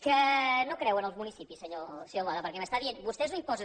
que no creu en els municipis senyor boada perquè m’està dient vostès no imposen